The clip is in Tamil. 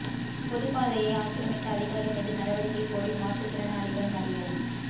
பொதுப்பாதையை ஆக்கிரமித்த அதிகாரி மீது நடவடிக்கை கோரி மாற்றுத் திறனாளிகள் மறியல்